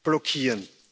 blockieren.